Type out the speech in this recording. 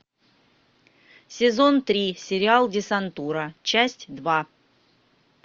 сезон три сериал десантура часть два